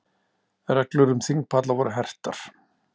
Reglur um þingpalla voru hertar